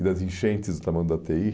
E das enchentes do tamanho da.